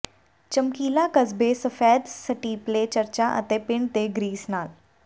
ਚਮਕੀਲਾ ਕਸਬੇ ਸਫੈਦ ਸਟੀਪਲੇ ਚਰਚਾਂ ਅਤੇ ਪਿੰਡ ਦੇ ਗ੍ਰੀਸ ਨਾਲ